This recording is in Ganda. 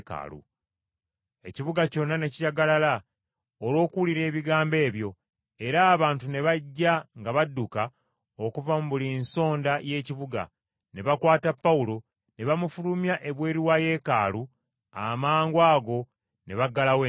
Ekibuga kyonna ne kijagalala olw’okuwulira ebigambo ebyo, era abantu ne bajja nga badduka okuva mu buli nsonda y’ekibuga. Ne bakwata Pawulo ne bamufulumya ebweru wa Yeekaalu, amangwago ne baggalawo enzigi.